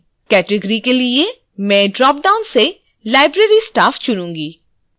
category के लिए मैं ड्रॉपडाउन से library staff चुनूँगी